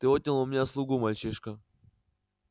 ты отнял у меня слугу мальчишка